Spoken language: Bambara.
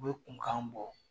U bɛ kunkan bɔ.